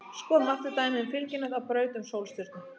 Skoðum aftur dæmið um fylgihnött á braut um sólstjörnu.